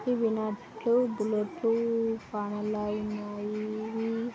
ఇవి ఇవి నట్లు బుల్లెట్లు స్పాన్నర్లలాగా ఉన్నాయి --